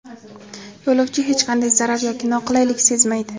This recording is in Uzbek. Yo‘lovchi hech qanday zarar yoki noqulaylik sezmaydi.